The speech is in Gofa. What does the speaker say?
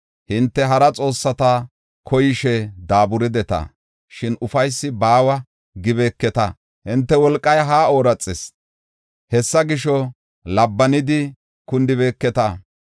Hinte hara xoossata koyishe daaburideta; shin, ‘Ufaysi baawa’ gibeeketa. Hinte wolqay haa ooraxis; hessa gisho, labbanidi kundibeeketa.